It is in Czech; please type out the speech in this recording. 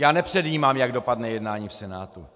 Já nepředjímám, jak dopadne jednání v Senátu.